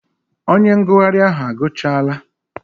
Onye ngụgharị ahụ agụchaala?